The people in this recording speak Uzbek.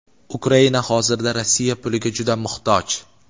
Ukraina hozirda Rossiya puliga juda muhtoj.